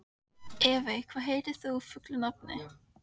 Evey, hvað heitir þú fullu nafni?